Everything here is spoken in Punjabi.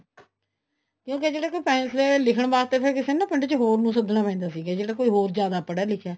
ਕਿਉਂਕਿ ਜਿਹੜੇ ਕੋ ਫ਼ੈਸ਼ਲੇ ਲਿੱਖਣ ਵਾਸਤੇ ਫ਼ੇਰ ਕਿਸੇ ਨੂੰ ਨਾ ਪਿੰਡ ਚ ਹੋਰ ਨੂੰ ਸੱਦਨਾ ਪੈਂਦਾ ਸੀ ਜਿਹੜਾ ਕੀ ਹੋਰ ਜਿਆਦਾ ਪੜ੍ਹਿਆ ਲਿੱਖਿਆ ਹੈ